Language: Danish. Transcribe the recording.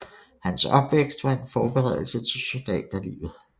Hans opvækst var en forberedelse til soldaterlivet